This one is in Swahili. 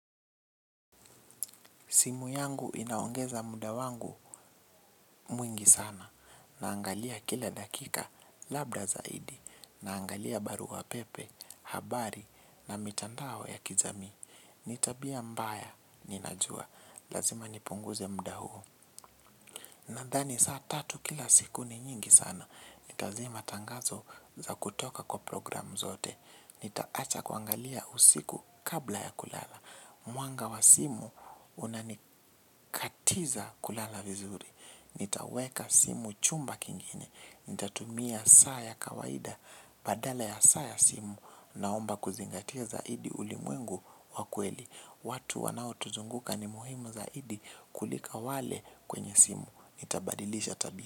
Simu yangu inaongeza muda wangu mwingi sana naangalia kila dakika labda zaidi na angalia barua pepe, habari na mitandao ya kijamii. Ni tabia mbaya, ninajua. Lazima nipunguze muda huu. Nadhani saa tatu kila siku ni nyingi sana. Nitazima tangazo za kutoka kwa programu zote. Nitaacha kuangalia usiku kabla ya kulala. Mwanga wa simu unanikatiza kulala vizuri. Nitaweka simu chumba kingine. Nitatumia saa ya kawaida. Badala ya saa ya simu naomba kuzingatia zaidi ulimwengu wa kweli. Watu wanao tuzunguka ni muhimu zaidi kulika wale kwenye simu. Nitaabadilisha tabia.